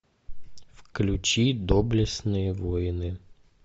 включи доблестные воины